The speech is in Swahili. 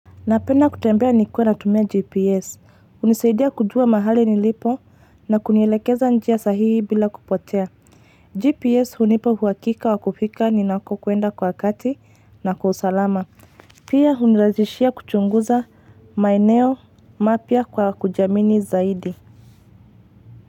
Napenda kutembea nikiwa natumia GPS. Unisaidia kujua mahali nilipo na kunielekeza njia sahihi bila kupotea. GPS hunipa uhakika wa kufika ninako kuenda kwa wakati na kwa usalama. Pia huniraizishia kuchunguza maeneo mapya kwa kujiamini zaidi.